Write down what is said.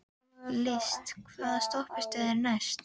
List, hvaða stoppistöð er næst mér?